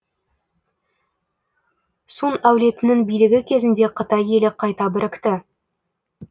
сун әулетінің билігі кезінде қытай елі қайта бірікті